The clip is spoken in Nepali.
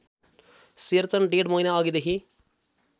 शेरचन डेढ महिनाअघिदेखि